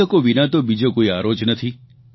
પુસ્તકો વિના તો બીજો કોઇ આરો જ નથી